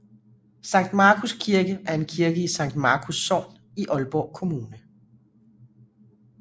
Sankt Markus Kirke er en kirke i Sankt Markus Sogn i Aalborg Kommune